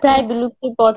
প্রায় বিলুপ্তির পথে